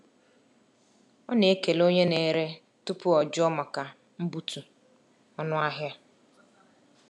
Ọ na-ekele onye na-ere tupu o jụọ maka mbutu ọnụ ahịa.